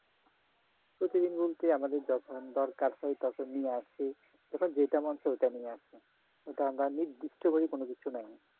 প্রতিদিন বলতে আমাদের যখন দরকার হয় তখন নিয়ে আসি যখন যেটা মন চায় ওইটা নিয়ে আসি ওটা আমরা নির্দিষ্টভাবে কোন কিছু নাই